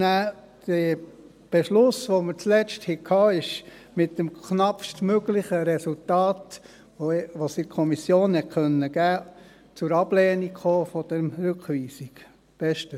Den Beschluss, den wir schlussendlich fassten – Ablehnung der Rückweisung –, kam in der Kommission mit dem knappest möglichen Resultat zustande.